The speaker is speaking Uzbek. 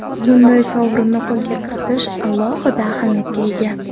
Bunday sovrinni qo‘lga kiritish alohida ahamiyatga ega.